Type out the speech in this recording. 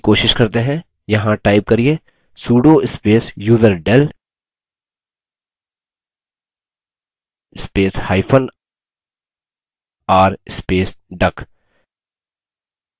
यहाँ type करिये sudo space userdel spacehyphen r space duck